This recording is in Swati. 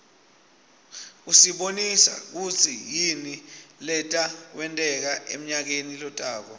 usibonisa kutsi yini leta wenteka emnayakeni lotako